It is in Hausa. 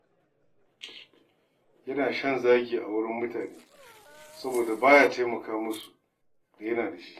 Yana shan zagi a wurin mutane soboda ba ya taimaka musu duk da yana da shi.